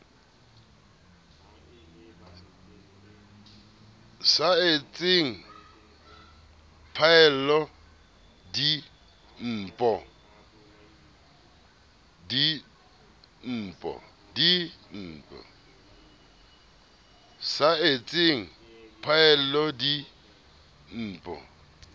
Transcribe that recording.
sa etseng phaello di npo